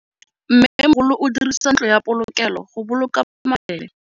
Mmêmogolô o dirisa ntlo ya polokêlô, go boloka mabele.